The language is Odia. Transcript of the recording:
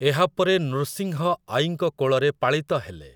ଏହାପରେ ନୃସିଂହ ଆଈଙ୍କ କୋଳରେ ପାଳିତ ହେଲେ ।